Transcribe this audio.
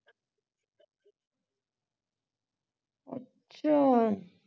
ਅੱਛਾ